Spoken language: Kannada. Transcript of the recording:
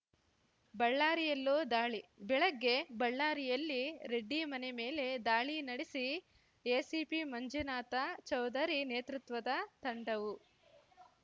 ಬಳ್ಳಾರಿಯಲ್ಲೂ ದಾಳಿ ಬೆಳಗ್ಗೆ ಬಳ್ಳಾರಿಯಲ್ಲಿ ರೆಡ್ಡಿ ಮನೆ ಮೇಲೆ ದಾಳಿ ನಡೆಸಿ ಎಸಿಪಿ ಮಂಜುನಾಥ ಚೌಧರಿ ನೇತೃತ್ವದ ತಂಡವು